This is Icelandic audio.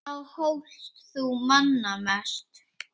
Þá hlóst þú manna mest.